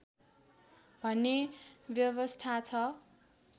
भन्ने व्यवस्था छ